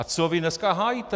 A co vy dneska hájíte?